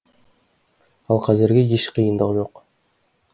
ал қазірге еш қиындық жоқ